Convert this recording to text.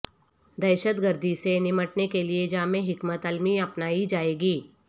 دہشت گردی سے نمٹنے کے لیے جامع حکمت علمی اپنائی جائے گی